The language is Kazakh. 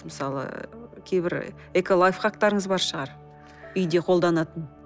мысалы кейбір эколайфхактарыңыз бар шығар үйде қолданатын